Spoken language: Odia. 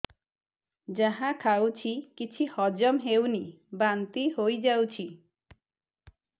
ଯାହା ଖାଉଛି କିଛି ହଜମ ହେଉନି ବାନ୍ତି ହୋଇଯାଉଛି